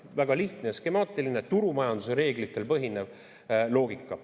Väga lihtne ja skemaatiline turumajanduse reeglitel põhinev loogika.